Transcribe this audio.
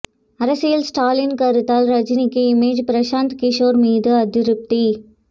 அரசியல் ஸ்டாலின் கருத்தால் ரஜினிக்கு இமேஜ் பிரசாந்த் கிஷோர் மீது அதிருப்தி